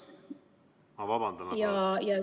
Ma vabandan, aga teie aeg on läbi!